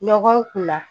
Ɲɔgɔn kun na